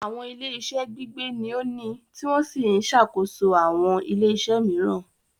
Àwọn ilé-iṣẹ́ Gbígbé ní o ni tí wọ́n sì ń ṣàkóso àwọn ilé-iṣẹ́ mìíràn